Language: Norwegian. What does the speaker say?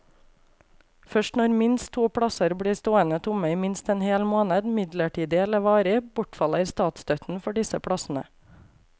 Først når minst to plasser blir stående tomme i minst en hel måned, midlertidig eller varig, bortfaller statsstøtten for disse plassene.